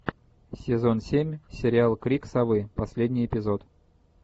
сезон семь сериал крик совы последний эпизод